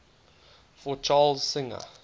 for charles singer